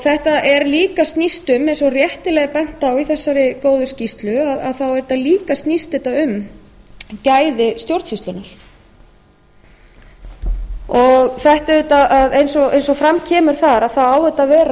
þetta snýst líka um eins og réttilega er bent á í þessari góðu skýrslu þá snýst þetta líka um gæði stjórnsýslunnar eins og fram kemur þar á þetta að